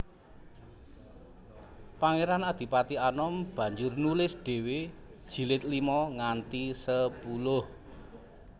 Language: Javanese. Pangeran Adipati Anom banjur nulis dhéwé jilid lima nganti sepuluh